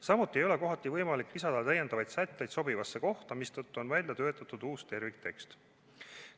Samuti ei ole kohati võimalik lisada täiendavaid sätteid sobivasse kohta, mistõttu on välja töötatud uus terviktekst.